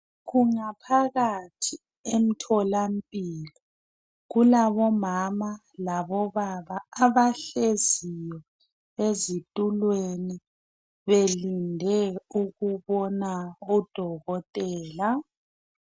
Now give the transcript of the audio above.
Kungaphakathi emtholampilo kulabomama labobaba abahlezi ezitulweni belinde ukubona odokotela.